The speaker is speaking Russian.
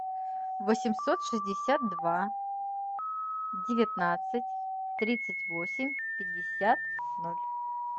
восемьсот шестьдесят два девятнадцать тридцать восемь пятьдесят ноль